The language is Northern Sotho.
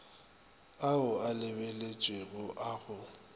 ao a lebeletšwego a go